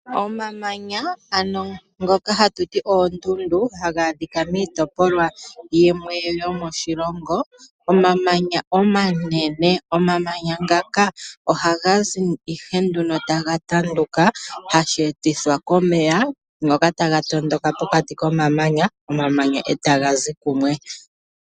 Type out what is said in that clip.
Omamanya, ano ngoka hatu ti oondundu haga adhika miitopolwa yimwe yomoshilongo, omamanya omanene. Omamanya ngaka ohaga zi ihe nduno taga tanduka hashi etithwa komeya ngoka taga tondoka pokati komamanya, omamanya e ta ga zi kumwe.